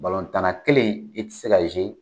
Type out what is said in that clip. kelen i tɛ se